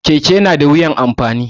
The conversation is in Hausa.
Keke na da wuyan amfani da